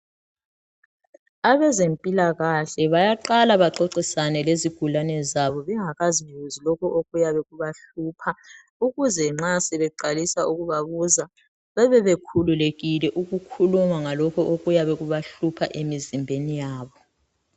Abezempilakahle bayaqala baxoxisane lezigulane zabo bengakazibuzi lokho okuyabe kubahlupha ukuze nxa sebeqalisa ukubabuza bebe bekhululekile ukukhuluma ngalokho okuyabe kubahlupha emizimbeni yabo.